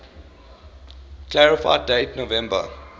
clarify date november